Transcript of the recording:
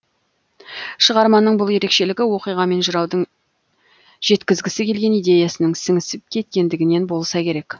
шығарманың бұл ерекшелігі оқиға мен жыраудың жеткізгісі келген идеясының сіңісіп кеткендігінен болса керек